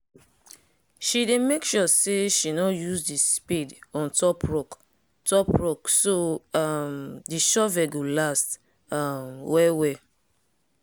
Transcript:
she dey make sure say she nor use the spade on top rock top rock so um the shovel go last um well well